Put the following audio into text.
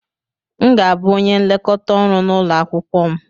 M ga-abụ onye nlekọta ọrụ na ulo akwukwo m.